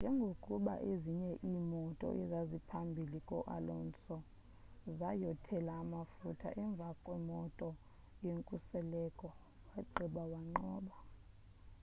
njengokuba ezinye iimoto ezaziphambhili ko-alonso zayothela amafutha emvakwemoto yenkuseleko wabagqitha wanqoba